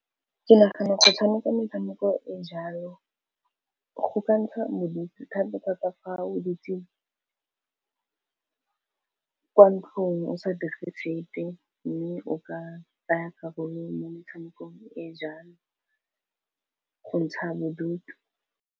Ke nagana go tshameka metshameko e jalo go ka ntsha bodutu thata-thata fa o dutse ko ntlong o sa dire sepe, mme o ka tsaya karolo mo metshamekong e jalo go ntsha bodutu.